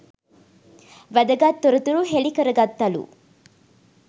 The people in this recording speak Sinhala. වැදගත් තොරතුරු හෙළි කරගත්තලු